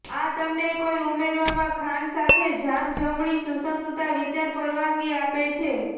આ તમને કોઈ ઉમેરવામાં ખાંડ સાથે જામ જમણી સુસંગતતા વિચાર પરવાનગી આપે છે